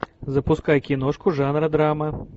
запускай киношку жанра драма